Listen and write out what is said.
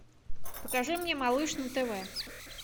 покажи мне малыш на тв